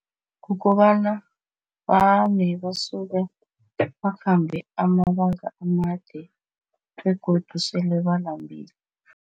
Kukobana vane basuke bakhambe amabanga amade begodu sele balambile.